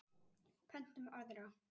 Pöntum aðra.